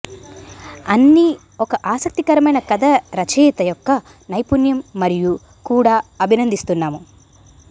అన్ని ఒక ఆసక్తికరమైన కథ రచయిత యొక్క నైపుణ్యం మరియు కూడా అభినందిస్తున్నాము